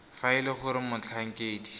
fa e le gore motlhankedi